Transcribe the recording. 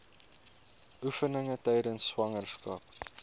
oefeninge tydens swangerskap